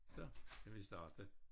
Så kan vi starte